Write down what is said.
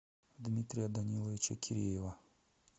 дмитрия даниловича киреева